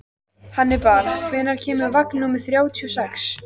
Hannibal, hvenær kemur vagn númer þrjátíu og sex?